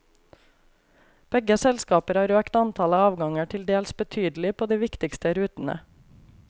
Begge selskaper har økt antallet avganger tildels betydelig på de viktigste rutene.